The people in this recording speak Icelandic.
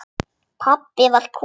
Pabbi var kominn.